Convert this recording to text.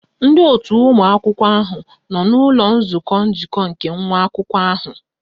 Ndị otu ụmụ akwụkwọ ahụ nọ n'ụlọ nzukọ njikọ nke nwa akwụkwọ ahụ